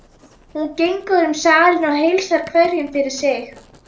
Hún gengur um salinn og heilsar hverjum fyrir sig.